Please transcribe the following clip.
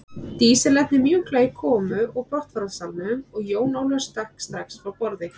Dísin lenti mjúklega í komu og brottfararsalnum og Jón Ólafur stökk strax frá borði.